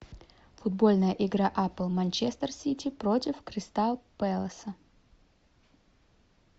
футбольная игра апл манчестер сити против кристал пеласа